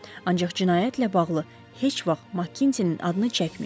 Ancaq cinayətlə bağlı heç vaxt Makkinzin adını çəkməyin.